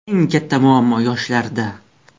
Eng katta muammo yoshlarda!